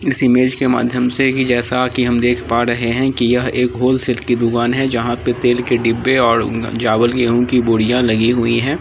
इस इमेज से माध्यम से की जैसा की हम देख पा रहे है की यह एक होल सेल की दूकान है जहां पे तेल के डिब्बे और चावल गेंहू की बोरिया लगी हुई है।